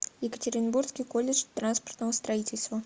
екатеринбургский колледж транспортного строительства